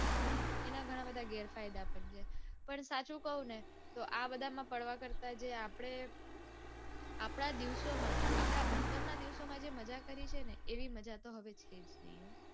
અને એના ઘણા બધા ઘેરફાયદા પણ છે. પણ સાચું કૌને તો આ બધામાં પડવા કરતા જે આપડે આપડા દિવસોમાં આપડા ભણતરના દિવસોમાં જે મજા કરી છે ને એવી મજા તો હવે છે જ નઈ.